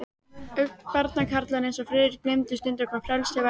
Barnakarlar eins og Friðrik gleymdu stundum, hvað frelsi væri.